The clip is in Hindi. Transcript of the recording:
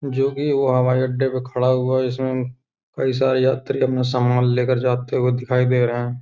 जो भी वो हवाई अड्डे पर खड़ा हुआ इसमे कई सारे यात्री सामान लेकर जाते हुए दिखाई दे रहे हैं ।